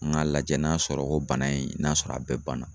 Ŋ'a lajɛ n'a sɔrɔ ko bana in n'a sɔrɔ a bɛɛ banna.